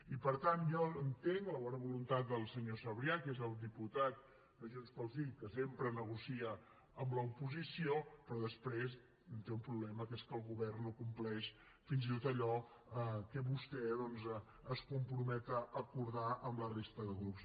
i per tant jo entenc la bona voluntat del senyor sabrià que és el diputat de junts pel sí que sempre negocia amb l’oposició però després té un problema que és que el govern no compleix fins i tot allò a què vostè es compromet amb la resta de grups